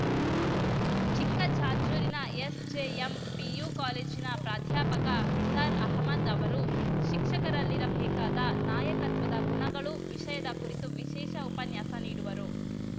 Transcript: ಚಿಕ್ಕಜಾಜೂರಿನ SJM PU ಕಾಲೇಜಿನ ಪ್ರಾಧ್ಯಾಪಕ ನಿಸ್ಸಾರ್‌ ಅಹಮದ್‌ ಅವರು ಶಿಕ್ಷಕರಲ್ಲಿರಬೇಕಾದ ನಾಯಕತ್ವದ ಗುಣಗಳು ವಿಷಯದ ಕುರಿತು ವಿಶೇಷ ಉಪನ್ಯಾಸ ನೀಡುವರು